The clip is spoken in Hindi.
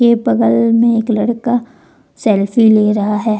बगल में एक लड़का सेल्फी ले रहा है।